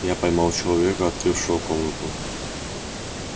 я поймал человека открывшего комнату